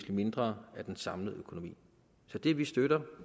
mindre i den samlede økonomi så det vi støtter